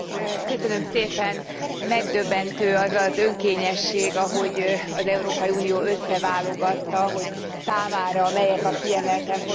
Megdöbbentő az az önkényesség, ahogy az Európai Unió összeválogatta, hogy számára melyek a kiemelten fontos emberi jogi területek.